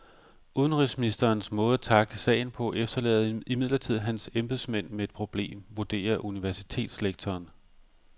Udenrigsministerens måde at tackle sagen på efterlader imidlertid hans embedsmænd med et problem, vurderer universitetslektoren.